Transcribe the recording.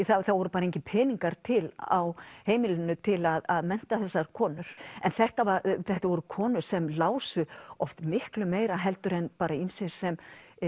það voru engir peningar til á heimilinu til að mennta þessar konur en þetta þetta voru konur sem lásu oft miklu meira heldur en ýmsir sem